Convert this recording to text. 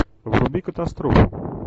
вруби катастрофу